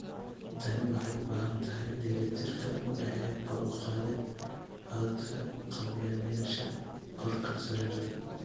Tani waxay u baahan tahay dheellitirka u dhexeeya kor u qaadida codadka ka qaybgalayaasha 'korka sariirta'.